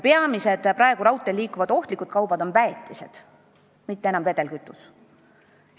Peamised mööda raudteed veetavad ohtlikud kaubad on praegu väetised, mitte enam vedelkütus.